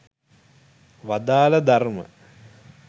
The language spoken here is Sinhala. වදාළ ධර්ම